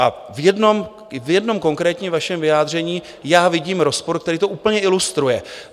A v jednom konkrétním vašem vyjádření já vidím rozpor, který to úplně ilustruje.